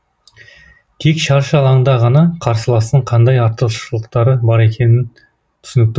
тек шаршы алаңда ғана қарсыластың қандай артықшылықтары бар екені түсінікті